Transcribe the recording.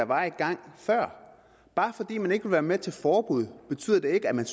var i gang bare fordi man ikke vil være med til forbud betyder det ikke at man